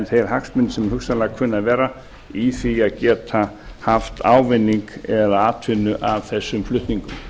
þeir hagsmunir sem hugsanlega kunna að vera í því að geta haft ávinning eða atvinnu af þessum flutningum